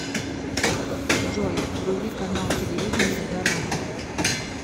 джой вруби канал телевидения дорама